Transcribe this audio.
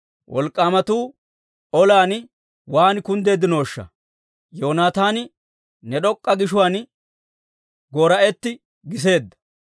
«Wolk'k'aamatuu olan waan kunddeeddinooshsha! Yoonataani ne d'ok'k'a gishuwaan goora'etti giseedda.